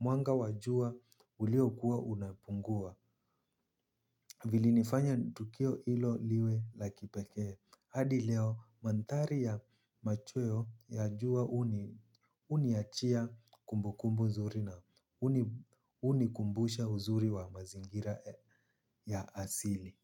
mwanga wajua ulio kuwa unapungua. Vili nifanya tukio ilo liwe lakipeke hadi leo manthari ya machweo ya jua uniachia kumbu kumbu zuri na unikumbusha uzuri wa mazingira ya asili.